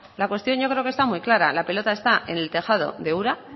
la cuestión yo creo que está muy clara la pelota está en el tejado de ura